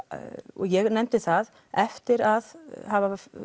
og ég nefndi það eftir að hafa